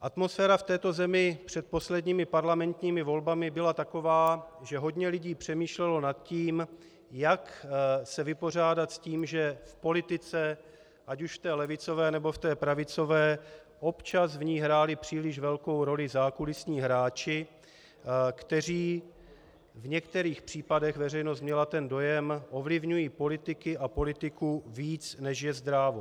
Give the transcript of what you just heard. Atmosféra v této zemi před posledními parlamentními volbami byla taková, že hodně lidí přemýšlelo nad tím, jak se vypořádat s tím, že v politice, ať už v té levicové, nebo v té pravicové, občas v ní hráli příliš velkou roli zákulisní hráči, kteří v některých případech, veřejnost měla ten dojem, ovlivňují politiky a politiku víc, než je zdrávo.